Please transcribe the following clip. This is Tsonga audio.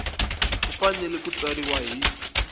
ku fanele ku tsariwa hi